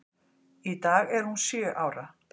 Í dag er hún sjö ára.